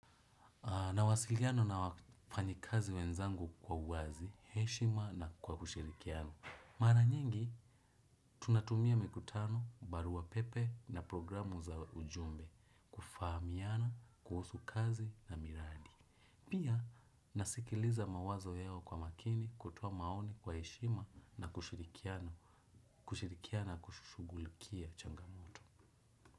Nawasiliana na wafanyi kazi wenzangu kwa uwazi, heshima na kwa kushirikiano. Maranyengi, tunatumia mikutano, barua pepe na programu za ujumbe. Fahamiana, kuhusu kazi na miradi. Pia, nasikiliza mawazo yao kwa makini kutoa maoni kwa heshima na kushirikiana, kushirikiana na kushugulikia changamoto.